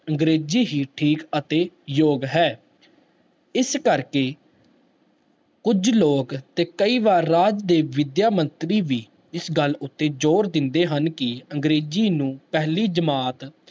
ਅੰਗਰੇਜ਼ੀ ਹੀ ਠੀਕ ਅਤੇ ਯੋਗ ਹੈ ਇਸ ਕਰਕੇ ਕੁੱਝ ਲੋਕ ਤੇ ਕਈ ਵਾਰ ਰਾਜ ਦੇ ਵਿਦਿਆ ਮੰਤਰੀ ਵੀ ਇਸ ਗੱਲ ਉੱਤੇ ਜ਼ੋਰ ਦਿੰਦੇ ਹਨ ਕਿ ਅੰਗਰੇਜ਼ੀ ਨੂੰ ਪਹਿਲੀ ਜਮਾਤ